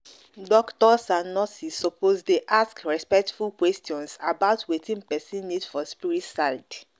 doctors and nurses suppose dey ask respectful questions about wetin person need for spirit side.